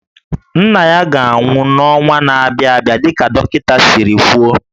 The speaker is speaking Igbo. Nna ya ga-anwụ n'ọnwa na-abịa dịka dọkịta siri kwuo